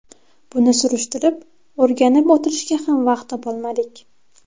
Buni surishtirib, o‘rganib o‘tirishga ham vaqt topolmadik.